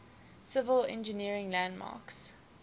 civil engineering landmarks